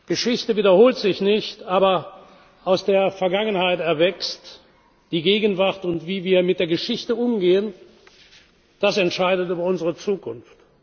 Geschichte wiederholt sich nicht, aber aus der Vergangenheit erwächst die Gegenwart, und wie wir mit der Geschichte umgehen, das entscheidet über unsere Zukunft.